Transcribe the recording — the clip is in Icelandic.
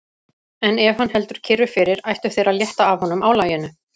En ef hann heldur kyrru fyrir, ættu þeir að létta af honum álaginu.